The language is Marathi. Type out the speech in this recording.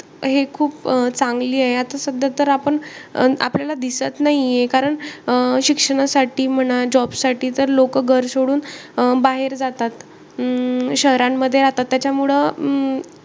हे खूप चांगलीय. आता सध्या तर आपण आपल्याला दिसत नाहीये. कारण अं शिक्षणासाठी म्हणा, job साठी तर लोकं घर सोडून बाहेर जातात, अं शहरांमध्ये जातात. त्याच्यामुळे अं